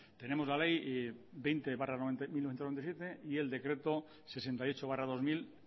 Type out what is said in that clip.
tenemos la ley veinte barra mil novecientos noventa y siete y el decreto sesenta y ocho barra dos mil